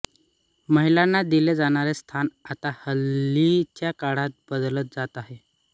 महिलांना दिले जाणारे स्थान आता हल्लीच्या काळात बदलत जात आहे